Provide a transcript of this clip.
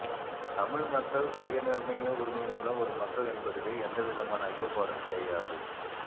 தமிழ்மக்கள் சுயநிர்ணய உரிமையுள்ள ஒரு மக்கள் என்பதிலே எந்தவிதமான அய்யப்பாடும் கிடையாது